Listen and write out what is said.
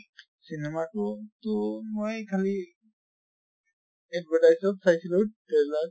cinema টো তো মই খালি advertise ত চাইছিলো trailer